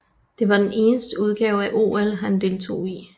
Det var den eneste udgave af OL han deltog i